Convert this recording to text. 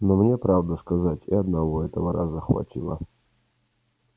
но мне правду сказать и одного этого раза хватило